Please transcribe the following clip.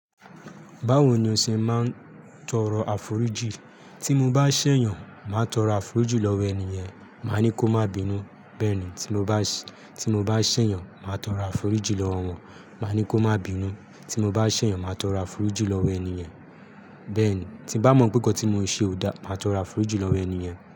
Báwo ni o ṣe máa ń tọrọ àforíjì? Tí mo bá ṣẹ̀yàn, màá tọrọ àforíjì lọ́wọ́ ènìyàn, màá ní kó má bínú. Bẹ́ẹ̀ ni, tí mo bá ṣẹ̀yàn, màá tọrọ àforíjì lọ́wọ́ wọn, màá ní kó má bínú. Tí mo bá ṣẹ̀yàn, màá tọrọ àforíjì lọ́wọ́ ènìyàn. Bẹ́ẹ̀ ni, tí bá mọ̀ pé nǹkan tí mo ṣe ò dáa, màá tọrọ àforíjì lọ́wọ́ ènìyàn.